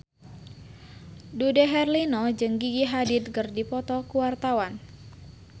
Dude Herlino jeung Gigi Hadid keur dipoto ku wartawan